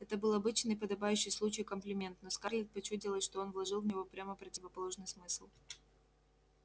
это был обычный подобающий случаю комплимент но скарлетт почудилось что он вложил в него прямо противоположный смысл